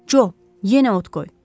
Co, yenə ot qoy.